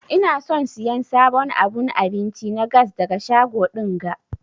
Ina son siyan sabon abun abinci na gas daga shago dinga.